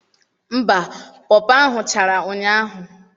Mba, pọọ pọọ ahụ chara ụnyaahụ.